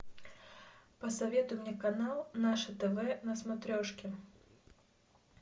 посоветуй мне канал наше тв на смотрешке